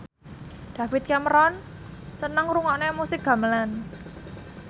David Cameron seneng ngrungokne musik gamelan